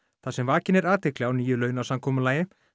þar sem vakin er athygli á nýju launasamkomulagi